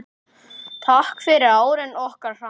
Takk fyrir árin okkar saman.